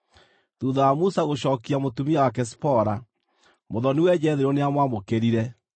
Thuutha wa Musa gũcookia mũtumia wake Zipora, mũthoni-we Jethero nĩamwamũkĩrire,